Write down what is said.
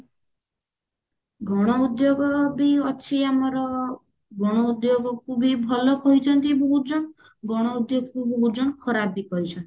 ଗଣ ଉଦ୍ଯୋଗ ବି ଅଛି ଆମର ଗଣ ଉଦ୍ଯୋଗ କୁ ବି ଭଲ କହୁଛନ୍ତି ବହୁତ ଜଣ ଗଣ ଉଦ୍ଯୋଗ କୁ ବହୁତ ଜଣ ଖରାପ କହୁଛନ୍ତି